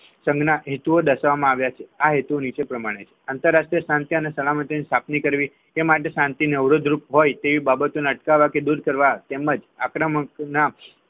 સંઘના હેતુ દર્શાવવામાં આવ્યા છે આ હેતુ નીચે પ્રમાણે છે આંતરરાષ્ટ્રીય શાંતિ અને સલામતી ની સ્થાપના કરવી એ માટે શાંતિ ને અવરોધરૂપ હોય તેવી બાબતોને અટકાવવા કે દૂર કરવા તેમજ આંકડા મંગ